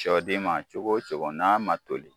Sɔden ma cogo o cogo n'a ma toli